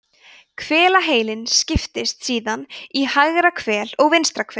hvelaheilinn skiptist síðan í hægra og vinstra heilahvel